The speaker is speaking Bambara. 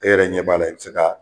E yɛrɛ ɲɛ b'a la i bɛ se k'a